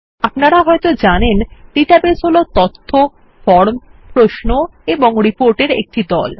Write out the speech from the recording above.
আপনারা হয়ত জানেন ডাটাবেস হল তথ্য ফর্ম প্রশ্ন এবং রিপোর্টের একটি দল